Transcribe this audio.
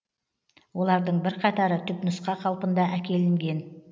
олардың бірқатары түпнұсқа қалпында әкелінген